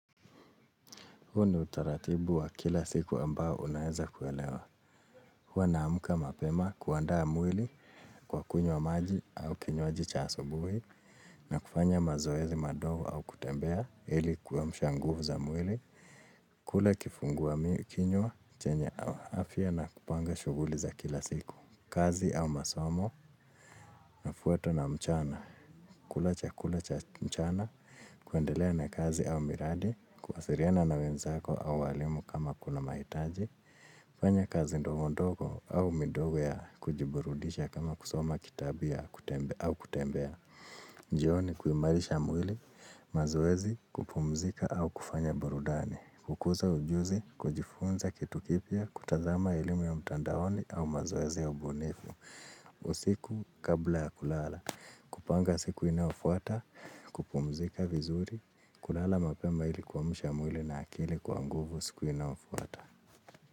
Huu ni utaratibu wa kila siku ambao unaeza kuelewa. Huwa naamka mapema kuandaa mwili kwa kunywa maji au kinywaji cha asubuhi na kufanya mazoezi madogo au kutembea ili kuamsha nguvu za mwili. Kula kifungua kinywa, chenye afya na kupanga shughuli za kila siku. Kazi au masomo ifwate na mchana. Kula chakula cha mchana kuendelea na kazi au miradi. Kuwasiliana na wenzako au walimu kama kuna mahitaji fanya kazi ndogo ndogo au midogo ya kujiburudisha kama kusoma kitabu au kutembea jioni kuimarisha mwili mazoezi kupumzika au kufanya burudani kukuza ujuzi kujifunza kitu kipya kutazama elimu ya mtandaoni au mazoezi ya ubunifu usiku kabla ya kulala kupanga siku inayofwata, kupumzika vizuri kulala mapema ili kuamusha mwili na akili kwa nguvu siku inayofwata.